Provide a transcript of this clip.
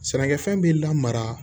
Sɛnɛkɛfɛn bɛ lamara